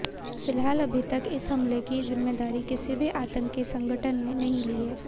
फिलहाल अभी तक इस हमले की जिम्मेदारी किसी भी आतंकी संगठन ने नहीं ली है